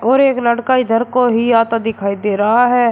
और एक लड़का इधर को ही आता दिखाई दे रहा है।